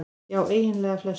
Já eiginlega flestum.